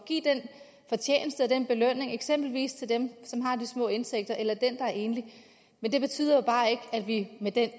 en belønning eksempelvis til dem som har de små indtægter eller dem der er enlige men det betyder bare ikke at vi med den